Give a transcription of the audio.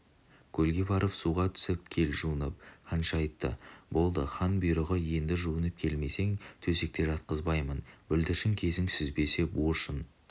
көлге барып суға түсіп кел жуынып ханша айтты болды хан бұйрығы елді жуынып келмесең төсекке жатқызбаймын бүлдіршін кезін сүзбесе буыршын